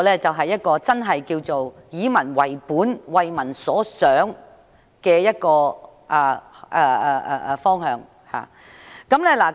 這才是真正以民為本、為民所想的方向。